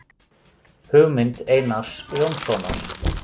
Hugmynd Einars Jónssonar.